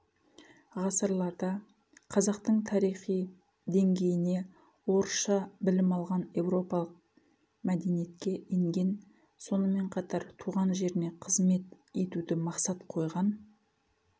ғасырларда қазақтың тарихи деңгейіне орысша білім алған еуропалық мәдениетке енген сонымен қатар туған жеріне қызымет етуді мақсат қойған